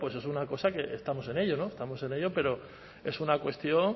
pues es una cosa que estamos en ello estamos en ello pero es una cuestión